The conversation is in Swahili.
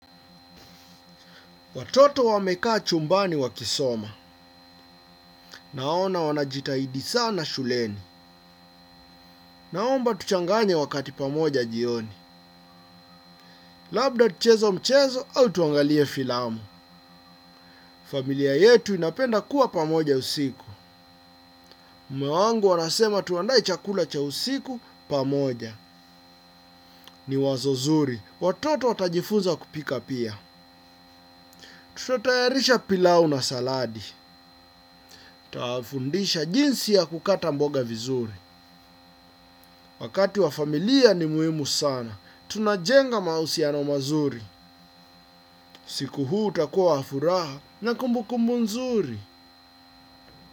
Watoto wameka chumbani wakisoma. Naona wanajitahidi sana shuleni. Naomba tuchanganye wakati pamoja jioni. Labda tucheze mchezo au tuangalie filamu. Familia yetu inapenda kuwa pamoja usiku. Mume wangu anasema tuandae chakula cha usiku pamoja. Ni wazo zuri. Watoto watajifunza kupika pia. Tutotayarisha pilau na saladi. Tutawafundisha jinsi ya kukata mboga vizuri. Wakati wa familia ni muhimu sana. Tunajenga mahusiano mazuri. Usiku huu utakua wa furaha na kumbukumbu nzuri.